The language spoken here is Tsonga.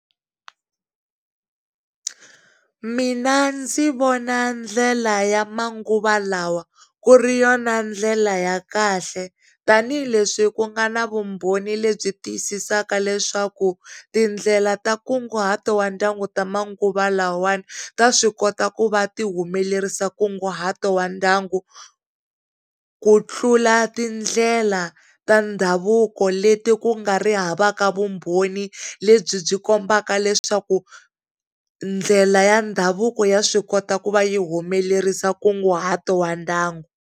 Mina ndzi vona ndlela ya manguva lawa ku ri yona ndlela ya kahle tanihileswi ku nga na vumbhoni lebyi tiyisisaka leswaku tindlela ta nkunguhato wa ndyangu ta manguva lawawani ta swi kota ku va ti humelerisa nkunguhato wa ndyangu ku tlula tindlela ta ndhavuko leti ku nga ri havaka vumbhoni lebyi byi kombaka leswaku ndlela ya ndhavuko ya swi kota ku va yi humelerisa nkunguhato wa ndyangu.